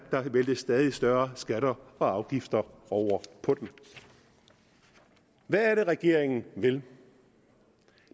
væltes stadig større skatter og afgifter over på dem hvad er det regeringen vil